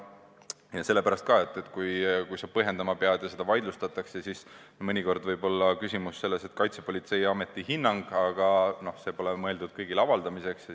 See on nii ka sellepärast, et kui sa pead põhjendama ja see vaidlustatakse, siis mõnikord võib olla küsimus selles, et tegemist on Kaitsepolitseiameti hinnanguga, mis pole mõeldud kõigile avaldamiseks.